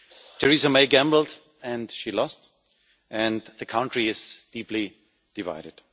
Theresa May gambled and she lost, and the country is deeply divided.